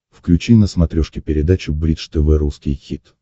включи на смотрешке передачу бридж тв русский хит